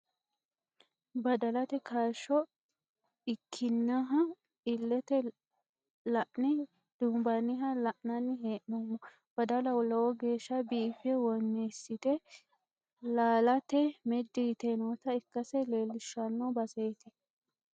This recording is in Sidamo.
Badalate kaashsho ikkiniha illete la'ne duunbanniha la'nanni hee'noommo. Badala lowo geeshsha biiffe wonniissite laalate meddi yite noota ikkase leellishshanno baseeti.